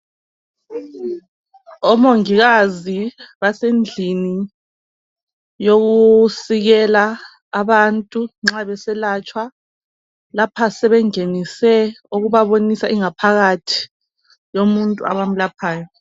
omongikazi basendlini yokusikela abantu nxa beselatshwa lapha sebengenise ukubabonisa ingaphakathi yomuntu abamlaphayo